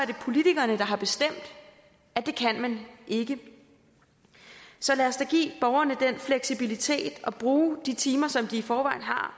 det politikerne der har bestemt at det kan man ikke så lad os da give borgerne den fleksibilitet og bruge de timer som de i forvejen har